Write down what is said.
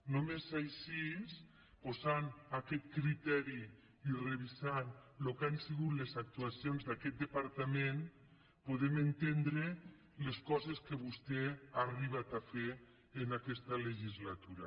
només així posant aquest criteri i revisant el que han sigut les actuacions d’aquest departament podem entendre les coses que vostè ha arribat a fer en aquesta legislatura